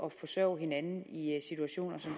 at forsørge hinanden i situationer som